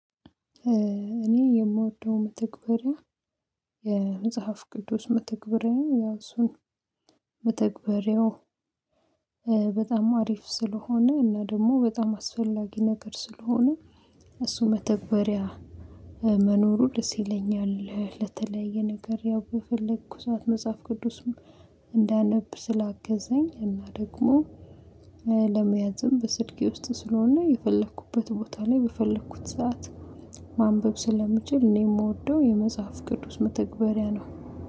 እኔ የምወደው መተግበሪያ የመጽሐፍ ቅያዱስ መተግበሪ ነው። ያው እሱ መተግበሪያው በጣም አሪፍ ስለሆነ እና ደግሞ በጣም አስፈላጊ ነገር ስለሆነ። እሱ መተግበሪያ መኖሩ ደስ ይለኛል ለተለያየ ነገር ያው በፈለኩ ሰዓት መጽሐፍ ቅዱስም እንዳነብ ስላገዘኝ እና ደግሞ። ለመያዝም በስልኬ ውስጥም ስለሆነ የፈለኩበት ቦታ ላይ በፈለኩት ሰዓት ማንበብ ስለምችል እኔ የምወደው የመጽሐፍ ቅዱስ መተግበሪያ ነው